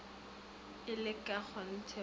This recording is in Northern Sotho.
e le ka kgonthe o